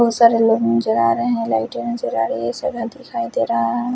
बहोत सारे लोग नजर आ रहे है लाइटे नजर आ रही है सोना दिखाई दे रहा है।